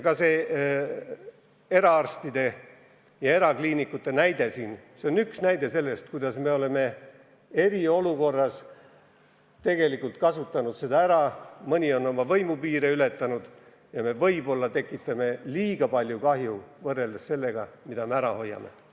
Ka eraarstide ja erakliinikute olukord on üks näide sellest, kuidas me oleme eriolukorda tegelikult ära kasutanud ja kuidas mõni on oma võimupiire ületanud, ning võib-olla tekitame liiga palju kahju võrreldes sellega, mida ära hoiame.